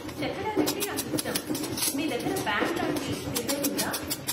చెక్కడాలంటే నాకు ఇష్టం. మీ దగ్గర బ్యాండ్ లాంటి డిజైన్ ఉందా?